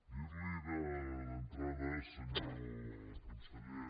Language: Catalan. dir li d’entrada senyor conseller